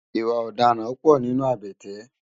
Iwã òdàrãn pò ninú àbèté